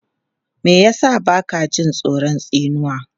Me ya sa ba ka jin tsoron tsinuwa?